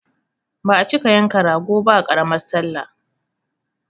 Ba a cika yanka rago ba a ƙaramar sallah